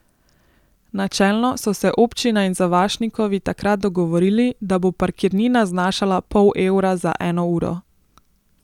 Načelno so se občina in Zavašnikovi takrat dogovorili, da bo parkirnina znašala pol evra za eno uro.